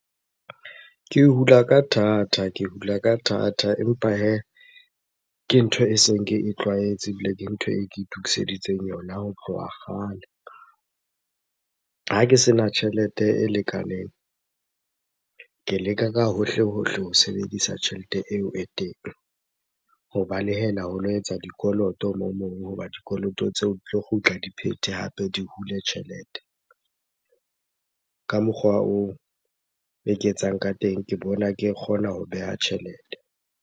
Ke hula ka thata, ke hula ka thata empa hee ke ntho e seng ke e tlwaetse ebile ke ntho e ke itukiseditseng yona ho tloha kgale. Ha ke sena tjhelete e lekaneng, ke leka ka hohle-hohle ho sebedisa tjhelete eo e teng ho balehela ho lo etsa dikoloto hoba dikoloto tseo di tlo kgutla di phethe hape di hule tjhelete. Ka mokgwa oo eke etsang ka teng, ke bona ke kgona ho beha tjhelete.